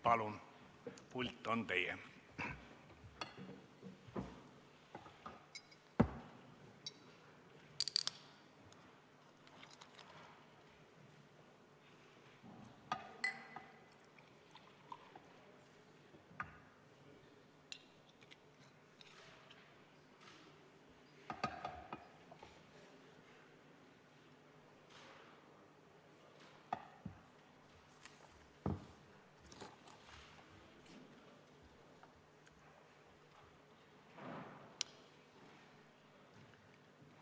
Palun, pult on teie!